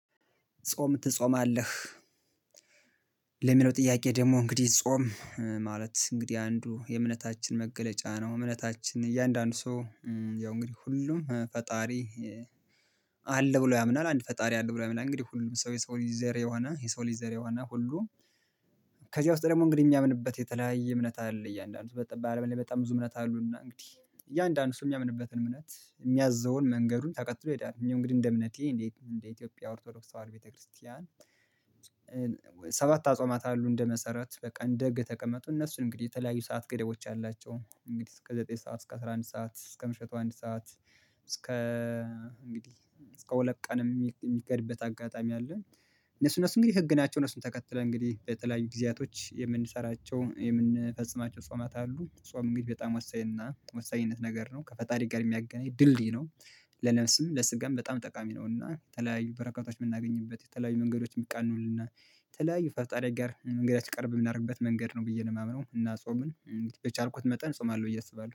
ጾም ትጾማለህ? ለሚለው ጥያቄ ደግሞ እንግዲህ ጾም ማለት እንግዲህ አንዱ የእምነታችን መገለጫ ነው። እምነታችን እያንዳንዱ ሰው ያው እንግዲህ ሁሉም ፈጣሪ አለ ብሎ ያምናል አንድ ፈጣሪ አለ ብሎ ያምናል እንግዲህ ሁሉም ሰው የሰው ልጅ ዘር የሆነ የሰው ልጅ ዘር የሆነ ሁሉ። ከዚያ ውስጥ ደግሞ እንግዲህ የሚያምንበት የተለያየ እምነት አለ እያንዳንዱ በጣም በጣም ብዙ እምነት አሉና እንግዲህ እያንዳንዱ እሱ የሚያምንበትን እምነት የሚያዘውን መንገዱን ተቀጥሎ ይሄዳል። እኔ እንግዲህ እንደ እምነቴ እንዴ እንደ ኢትዮጵያ ኦርቶዶክስ ተዋር ቤተክርስቲያን። ሰባት አጽዋማት አሉ እንደ መሰረት በቃ እንደ ህግ ተቀመጡ። እነሱ እንግዲህ የተለያዩ ሰዓት ገደቦች አላቸው እንግዲህ እስከ ዘጠኝ ሰዓት እስከ አስራ አንድ ሰዓት እስከ ምሽቱ አንድ ሰዓት። እስከ እንግዲህ እስከ ሁለት ቀን የሚሄድበት አጋጣሚ አለ። እነሱ እነሱ እንግዲህ ህግ ናቸው። እነሱን ተከትለን እንግዲህ በተለያዩ ጊዜያቶች የምንሰራቸው የምንፈጽማቸው አጽዋማት አሉ። ጾም እንግዲህ በጣም ወሳኝነት ነገር ነው ከፈጣሪ ጋር የሚያገናኝ ድልድይ ነው። ለነፍስም ለስጋም በጣም ጠቃሚ ነው። እና ተለያዩ በረከታች የምናገኝበት የተለያዩ መንገዶች የሚቃኑልና የተለያዩ ፈጣሪ ጋር መንገዳችን ቅርብ የምናደርግበት መንገድ ነው። ብዬ ነው የማምነው እና ጾምን የቻልኩት መጠን ጾማለሁ ብዬ አስባለሁ